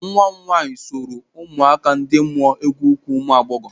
Nwa m nwaanyị soro ụmụaka ndị mụọ egwu ukwu ụmụ agbọghọ.